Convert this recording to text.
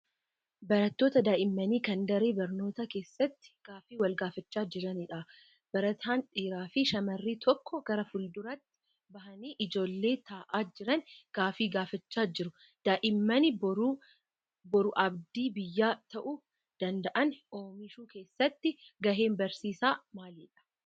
Barattoota daa'immanii kan daree barnootaa keessatti gaaffii wal gaafachaa jiranidha. Barataan dhiiraa fi shamarri tokko gara fuul-duraatti bahanii ijoollee taa'aa jiran gaaffii gaafachaa jiru. Daa'imman boru abdii biyyaa ta'uu danda'an oomishuu keessatti gaheen barsiisaa maalidha?